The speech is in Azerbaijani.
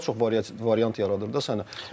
Bu daha çox variant yaradır da səndə.